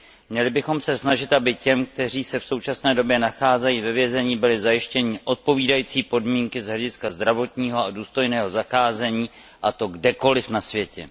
Měli bychom se snažit, aby těm, kteří se v součastné době nacházejí ve vězení, byly zajištěny odpovídající podmínky z hlediska zdravotního a důstojného zacházení, a to kdekoliv na světě.